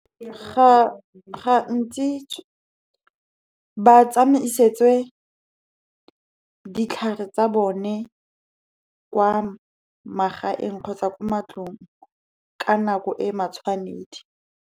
Ga ntsi batsamaisetswe ditlhare tsa bone kwa magaeng, kgotsa ko matlong, ka nako e matshwanedi.